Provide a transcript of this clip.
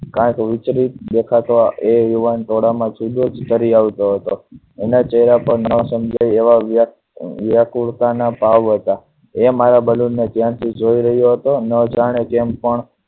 કાયિક વિચલિત દેખા તો એ યુવાન ટોળા માં જુદો જ એના ચહેરા પર ન સમજાય એવા વ્યાસ વ્યાકુળતા ના ભાવ હતા. એ મારા balloon ને જોઈ રહ્યો હતો. ન જાણે કેમ પણ